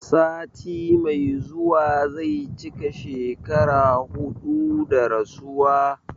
Sati mai zuwa zai cika shekara huɗu da rasuwa